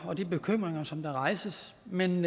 og de bekymringer som der rejses men